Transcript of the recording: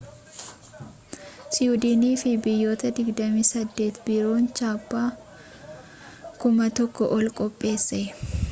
siwiidiniifi biyyoota 28 biroof chaappaa 1,000 ol qopheesse